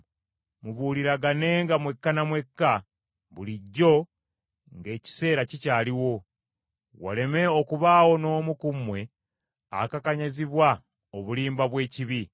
Mubuuliraganenga mwekka na mwekka bulijjo ng’ekiseera kikyaliwo, waleme okubaawo n’omu ku mmwe akakanyazibwa obulimba bw’ekibi.